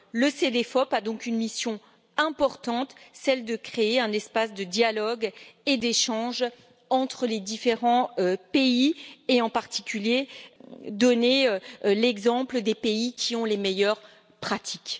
Le Cedefop a donc une mission importante, celle de créer un espace de dialogue et d'échange entre les différents pays et, en particulier, de donner en exemple les pays qui ont les meilleures pratiques.